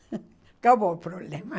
- transcrição normal - Acabou o problema.